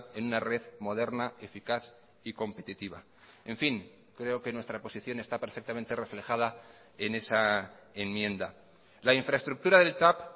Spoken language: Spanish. en una red moderna eficaz y competitiva en fin creo que nuestra posición está perfectamente reflejada en esa enmienda la infraestructura del tav